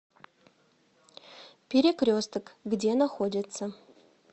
перекресток где находится